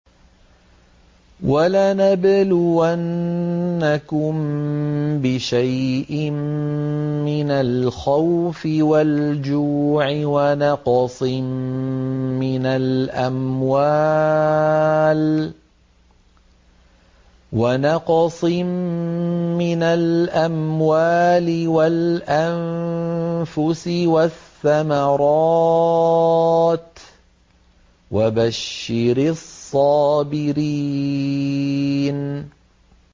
وَلَنَبْلُوَنَّكُم بِشَيْءٍ مِّنَ الْخَوْفِ وَالْجُوعِ وَنَقْصٍ مِّنَ الْأَمْوَالِ وَالْأَنفُسِ وَالثَّمَرَاتِ ۗ وَبَشِّرِ الصَّابِرِينَ